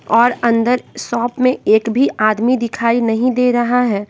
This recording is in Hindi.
और अंदर शॉप में एक भी आदमी दिखाई नहीं दे रहा हैं।